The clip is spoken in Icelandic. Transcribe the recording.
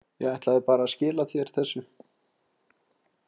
Ég ætlaði bara að skila þér þessu.